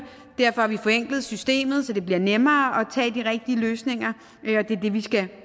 derfor har vi forenklet systemet så det bliver nemmere at tage de rigtige løsninger og det er det vi skal